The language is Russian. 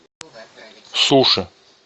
суши